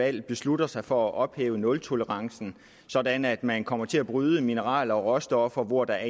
valg beslutter sig for at ophæve nultolerancen sådan at man kommer til at bryde mineraler og råstoffer hvor der